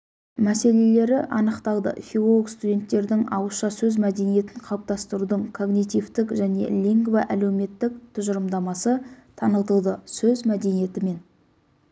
мәселелері анықталды филолог-студенттердің ауызша сөз мәдениетін қалыптастырудың когнитивтік және лингвоәлеуметтік тұжырымдамасы танытылды сөз мәдениеті мен